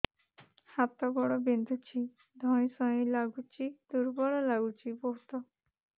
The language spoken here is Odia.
ହାତ ଗୋଡ ବିନ୍ଧୁଛି ଧଇଁସଇଁ ଲାଗୁଚି ଦୁର୍ବଳ ଲାଗୁଚି ବହୁତ